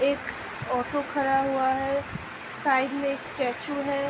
एक ऑटो खड़ा हुआ है साइड में एक स्टेचू है ।